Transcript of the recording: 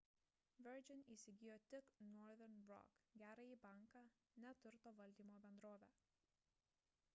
virgin įsigijo tik northern rock gerąjį banką ne turto valdymo bendrovę